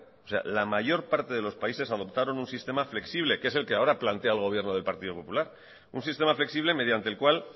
la mayor parte de los países adoptaron un sistema flexible que es el que ahora plantea el gobierno del partido popular un sistema flexible mediante el cual